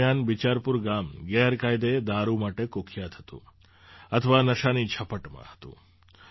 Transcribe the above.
તે દરમિયાન બિચારપુર ગામ ગેરકાયદે દારૂ માટે કુખ્યાત હતું અથવા નશાની ઝપટમાં હતું